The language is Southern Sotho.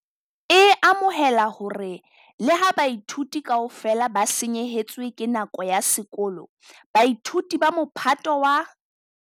e amohela hore le ha baithuti kaofela ba senyehetswe ke nako ya sekolo, baithuti ba Mophato wa